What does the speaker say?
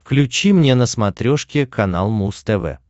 включи мне на смотрешке канал муз тв